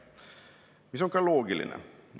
See on ka loogiline.